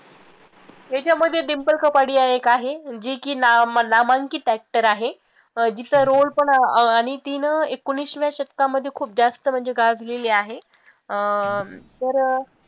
याच्यामद्धे डिंपल कपाडिया एक आहे, जी की नाम नामांकित actor आहे, जीचा role पण अं आणि ती न एकोणिसाव्या शतकामध्ये खूप जास्त म्हणजे गाजलेली आहे, अं तर